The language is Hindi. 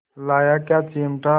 लाया क्या चिमटा